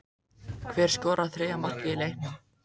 Hver skoraði þriðja markið í leiknum?